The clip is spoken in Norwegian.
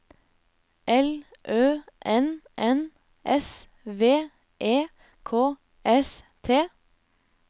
L Ø N N S V E K S T